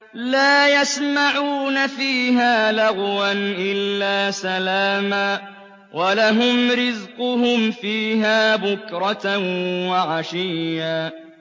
لَّا يَسْمَعُونَ فِيهَا لَغْوًا إِلَّا سَلَامًا ۖ وَلَهُمْ رِزْقُهُمْ فِيهَا بُكْرَةً وَعَشِيًّا